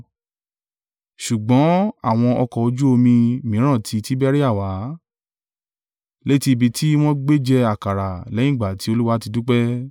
Ṣùgbọ́n àwọn ọkọ̀ ojú omi mìíràn ti Tiberia wá, létí ibi tí wọn gbé jẹ àkàrà, lẹ́yìn ìgbà tí Olúwa ti dúpẹ́.